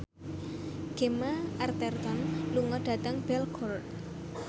Gemma Arterton lunga dhateng Belgorod